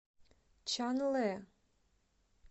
чанлэ